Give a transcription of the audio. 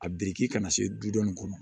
A biriki ka na se du dɔw kɔnɔ